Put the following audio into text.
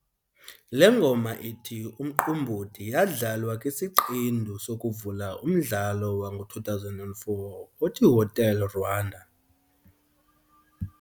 Le ngoma ithi "Umqombothi" yadlalwa kwisiqendu sokuvula umdlalo wango2004 othiHotel Rwanda.